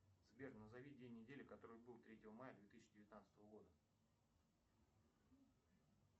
сбер назови день недели который был третьего мая две тысячи девятнадцатого года